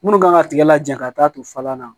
Minnu kan ka tigɛ laja ka taa to falan na